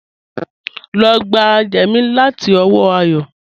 Lọ gbà jẹ́mí láti ọwọ́ Àyọ́